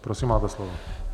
Prosím, máte slovo.